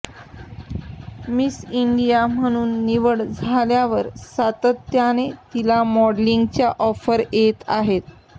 miss India म्हणून निवड झाल्यावर सातत्याने तिला मॉडेलिंगच्या ऑफर्स येत आहेत